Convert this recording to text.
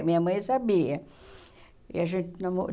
minha mãe sabia que a gente